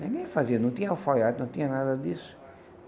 Ninguém fazia, não tinha alfaiado, não tinha nada disso.